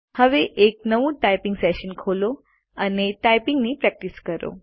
હવે એક નવું ટાઈપીંગ સેશન ખોલો અને ટાઈપીંગની પ્રેકટીશ કરો